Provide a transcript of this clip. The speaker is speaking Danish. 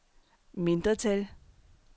mindretal